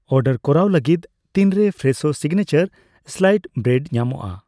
Order ᱠᱚᱨᱟᱣ ᱞᱟᱹᱜᱤᱫ ᱛᱤᱱᱨᱮ ᱯᱷᱨᱮᱥᱳ ᱥᱤᱜᱱᱮᱪᱟᱨ ᱥᱞᱟᱭᱤᱥᱰ ᱵᱨᱮᱰ ᱧᱟᱢᱚᱜᱼᱟ ?